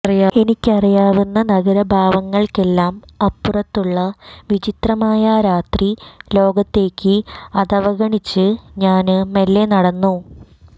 എനിക്കറിയാവുന്ന നഗരഭാവങ്ങള്ക്കെല്ലാം അപ്പുറത്തുള്ള വിചിത്രമായ ആ രാത്രിലോകത്തേക്ക് അതവഗണിച്ച് ഞാന് മെല്ലെ നടന്നു